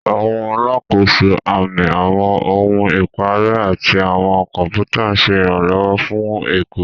Àwọn alákòóso, àmì, àwọn ohun ìparẹ́, àti àwọn kọ̀pútà ń ṣe ìrànlọ́wọ́ fún ẹ̀kọ́.